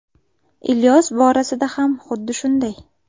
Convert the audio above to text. Ilyos borasida ham xuddi shunday.